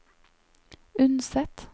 Unset